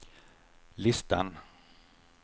listan